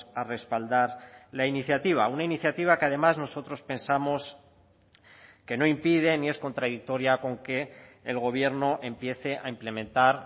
a respaldar la iniciativa una iniciativa que además nosotros pensamos que no impide ni es contradictoria con que el gobierno empiece a implementar